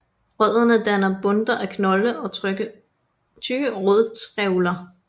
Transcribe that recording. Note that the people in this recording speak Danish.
Rødderne danner bundter af knolde og tykke rodtrævler